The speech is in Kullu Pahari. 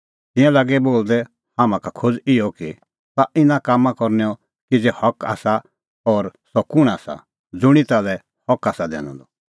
तिंयां लागै बोलदै हाम्हां का खोज़ इहअ कि ताह इना कामां करनैओ किज़ै हक आसा और सह कुंण आसा ज़ुंणी ताल्है हक आसा दैनअ द